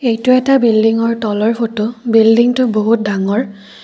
এইটো এটা বিল্ডিংৰ তলৰ ফটো বিল্ডিংটো বহুত ডাঙৰ।